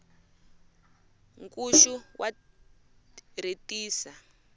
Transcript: nkuxu wa rhetisa